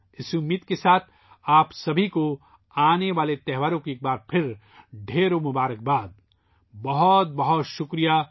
اسی خواہش کے ساتھ ، آپ سبھی کو آنے والے تہواروں کی ایک بار پھر بہت بہت مبارکباد ، بہت بہت شکریہ